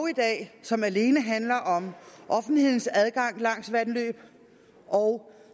i dag som alene handler om offentlighedens adgang langs vandløb og